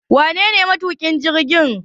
Wanene matuƙin jirgin?